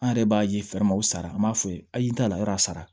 An yɛrɛ b'a ye fɛrɛ ma o sara an b'a fɔ a ye ayi n t'a la yɔrɔ sara